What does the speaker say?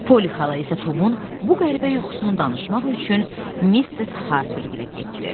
Poli xala isə Tomun bu qəribə yuxusunu danışmaq üçün Misses Harper ilə getdi.